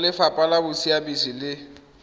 go lefapha la bosiamisi le